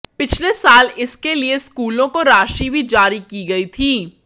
पिछले साल इसके लिए स्कूलों को राशि भी जारी की गई थी